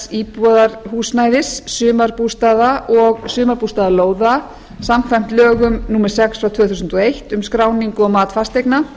íbúðarhúsnæðis sumarbústaða og sumarbústaðalóða samkvæmt lögum númer sex tvö þúsund og eitt um skráningu og mat fasteigna